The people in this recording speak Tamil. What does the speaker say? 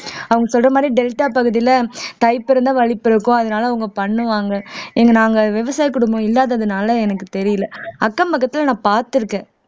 அவங்க சொல்ற மாதிரி டெல்டா பகுதியில தை பிறந்தா வழி பிறக்கும் அதனால அவங்க பண்ணுவாங்க இங்க நாங்க விவசாய குடும்பம் இல்லாததுனால எனக்கு தெரியலே அக்கம் பக்கத்துல நான் பார்த்திருக்கேன்